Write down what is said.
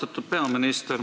Austatud peaminister!